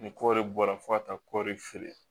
Ni kɔɔri bɔra fo ka taa kɔri feere